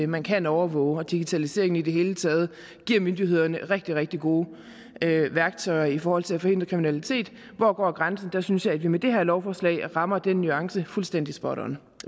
man kan overvåge og digitaliseringen i det hele taget giver myndighederne rigtig rigtig gode værktøjer i forhold til at forhindre kriminalitet hvor går grænsen der synes jeg at vi med det her lovforslag rammer den nuance fuldstændig spot on